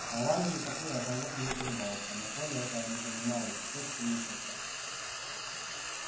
а вале никакой разговор и не требовался но коля этого не понимал и чуточку мучился